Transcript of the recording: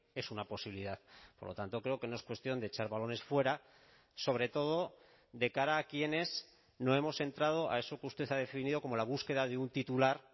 es una posibilidad por lo tanto creo que no es cuestión de echar balones fuera sobre todo de cara a quienes no hemos entrado a eso que usted ha definido como la búsqueda de un titular